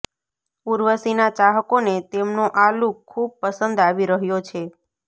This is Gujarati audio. ઉર્વશીના ચાહકોને તેમનો આ લુક ખૂબ પસંદ આવી રહ્યો છે